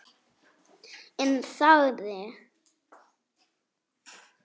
En þagði.